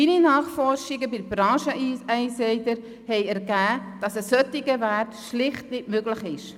Meine Nachforschungen bei den Brancheninsidern haben ergeben, dass ein solcher Wert schlicht nicht möglich ist.